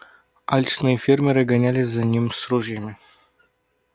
алчные фермеры гонялись за ним с ружьями